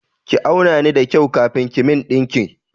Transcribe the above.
Ki auna ni da kyau kafin ki min ɗinki!